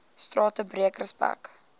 strate breek respek